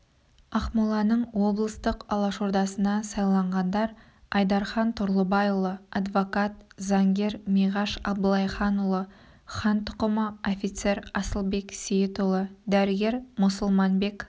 ақмоланың облыстық алашордасына сайланғандар айдархан тұрлыбайұлы адвокат заңгер миғаш абылайханұлы хан тұқымы офицер асылбек сейітұлы дәрігер мұсылманбек